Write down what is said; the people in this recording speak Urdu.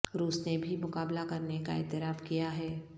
روس نے بھی مقابلہ کرنے کا اعتراف کیا ہے